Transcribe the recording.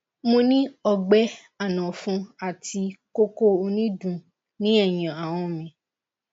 mo ni ogbe anofun ati koko onidun ni eyin ahan mi